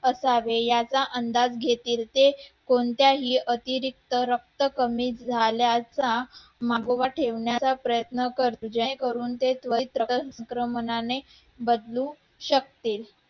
असावे याचा अंदाज घेतील ते कोणत्याही अतिरिक्त रक्त कमी झाल्याचा मागोवा ठेवण्याचा प्रयत्न करतील जेणेकरून ते त्वरित